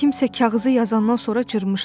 Kimsə kağızı yazandan sonra cırmışdı.